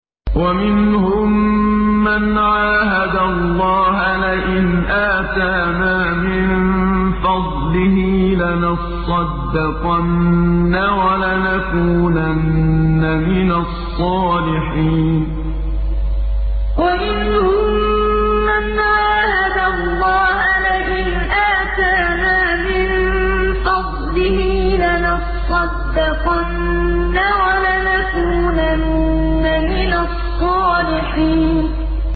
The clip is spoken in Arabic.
۞ وَمِنْهُم مَّنْ عَاهَدَ اللَّهَ لَئِنْ آتَانَا مِن فَضْلِهِ لَنَصَّدَّقَنَّ وَلَنَكُونَنَّ مِنَ الصَّالِحِينَ ۞ وَمِنْهُم مَّنْ عَاهَدَ اللَّهَ لَئِنْ آتَانَا مِن فَضْلِهِ لَنَصَّدَّقَنَّ وَلَنَكُونَنَّ مِنَ الصَّالِحِينَ